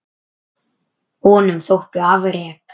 Honum þóttu afrek